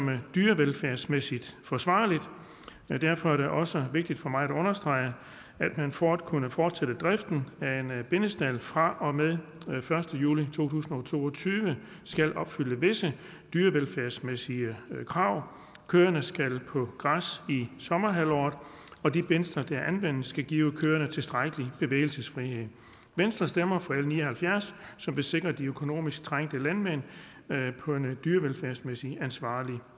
være dyrevelfærdsmæssigt forsvarligt derfor er det også vigtigt for mig at understrege at man for at kunne fortsætte driften af en bindestald fra og med den første juli to tusind og to og tyve skal opfylde visse dyrevelfærdsmæssige krav køerne skal på græs i sommerhalvåret og de bindsler der anvendes skal give køerne tilstrækkelig bevægelsesfrihed venstre stemmer for l ni og halvfjerds som vil sikre de økonomisk trængte landmænd på en dyrevelfærdsmæssig ansvarlig